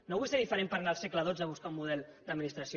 no vull ser diferent per anar al segle xii a buscar un model d’administració